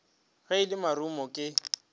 ge e le marumo ke